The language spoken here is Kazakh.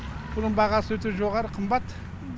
бұның бағасы өте жоғары қымбат